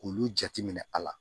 K'olu jate minɛ a la